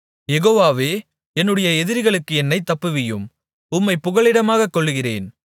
யெகோவாவே என்னுடைய எதிரிகளுக்கு என்னைத் தப்புவியும் உம்மைப் புகலிடமாகக் கொள்ளுகிறேன்